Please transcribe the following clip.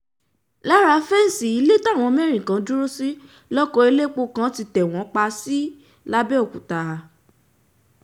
lára fẹ́ǹsì ilé táwọn mẹ́rin kan dúró sí lóko elépo kan tẹ̀ wọ́n pa sí lápbèòkúta